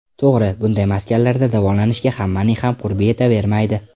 To‘g‘ri, bunday maskanlarda davolanishga hammaning ham qurbi yetavermaydi.